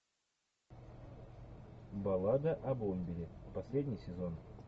баллада о бомбере последний сезон